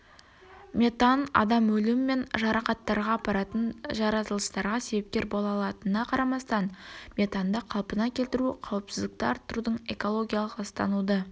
метан адам өлімі мен жарақаттарға апаратын жарылыстарға себепкер бола алатынына қарамастан метанды қалпына келтіру қауіпсіздікті арттырудың экологиялық ластануды